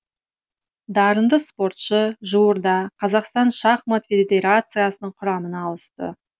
дарынды спортшы жуырда қазақстан шахмат федерациясының құрамына ауысты